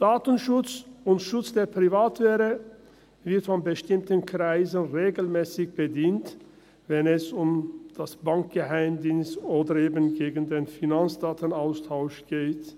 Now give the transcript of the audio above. Datenschutz und Schutz der Privatsphäre werden von bestimmten Kreisen regelmässig eingesetzt, wenn es um das Bankgeheimnis oder gegen den Finanzdatenaustausch geht.